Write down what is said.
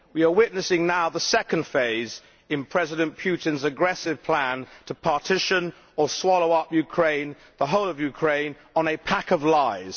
We are witnessing now the second phase in President Putin's aggressive plan to partition or swallow up the whole of Ukraine based on a pack of lies.